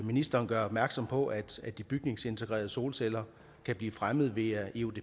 ministeren gør opmærksom på at de bygningsintegrerede solceller kan blive fremmet via eudp